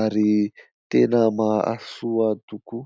ary tena mahasoa tokoa.